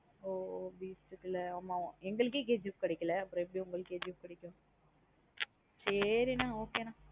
ஒ ஒ Beast குல்லா ஆமா எங்களுக்கே KGF கிடைக்கலா அப்பறம் எப்டி உங்களுக்கு KGF கிடைக்கும் சேரி நா